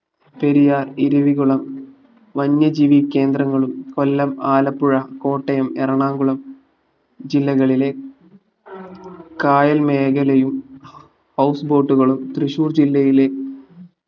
പെരിയാർ ഇരവികുളം വന്യജീവി കേന്ദ്രങ്ങളും കൊല്ലം ആലപ്പുഴ കോട്ടയം എറണാകുളം ജില്ലകളിലെ കായൽ മേഖലയും house boat കളും തൃശ്ശൂർ ജില്ലയിലെ